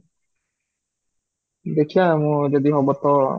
ଦେଖିବା ମୋର ଯଦି ହବ ତ